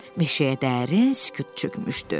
Meşəyə dərin sükut çökmüşdü.